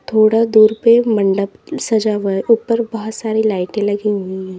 थोड़ा दूर पे मंडप सजा हुआ है ऊपर बहोत सारी लाइटें लगी हुई है।